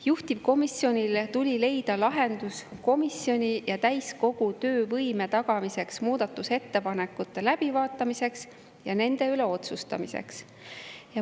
Juhtivkomisjonil tuli leida lahendus komisjoni ja täiskogu töövõime tagamiseks, muudatusettepanekute läbivaatamiseks ja nende üle otsustamiseks.